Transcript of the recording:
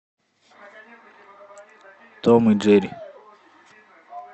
том и джерри